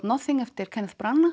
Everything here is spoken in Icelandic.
nothing eftir Kenneth